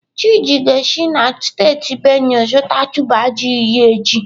Chidi ga-esi na steeti Benue zụta tuber ji iri echi.